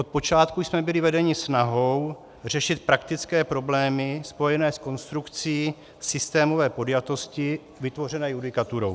Od počátku jsme byli vedeni snahou řešit praktické problémy spojené s konstrukcí systémové podjatosti vytvořené judikaturou.